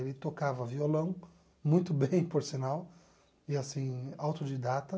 Ele tocava violão muito bem, por sinal, e assim, autodidata.